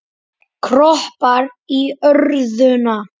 Kroppar í örðuna.